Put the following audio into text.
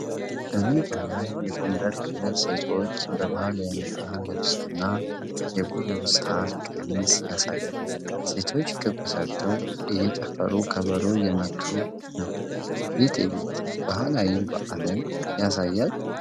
በሜዳ ላይ የጎንደር ክልል ሴቶችን በባህላዊ የነጠላ ልብስና የጎዞ ሣር ቀሚስ ያሳያል። ሴቶቹ ክብ ሰርተው እየጨፈሩ ከበሮ እየመቱ ነው። ይህ ትዕይንት ባህላዊ በዓልን ያሳያል?